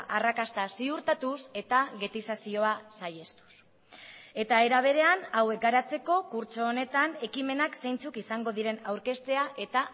arrakasta ziurtatuz eta getizazioa saihestuz eta era berean hauek garatzeko kurtso honetan ekimenak zeintzuk izango diren aurkeztea eta